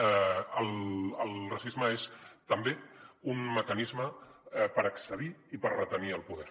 el racisme és també un mecanisme per accedir i per retenir el poder